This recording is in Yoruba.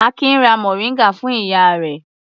Akin ra mòríngà fún ìyá rẹ̀.